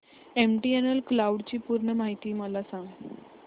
MTNL cloud ची पूर्ण माहिती सांग